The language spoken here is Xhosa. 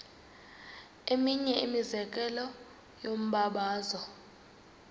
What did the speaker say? eminye imizekelo yombabazo